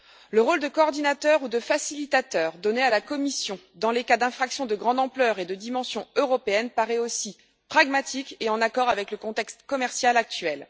Le rôle de coordinateur ou de facilitateur donné à la Commission, dans les cas d'infraction de grande ampleur et de dimension européenne, paraît aussi pragmatique et en accord avec le contexte commercial actuel.